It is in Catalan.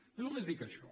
jo només dic això